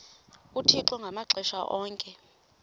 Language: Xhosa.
uthixo ngamaxesha onke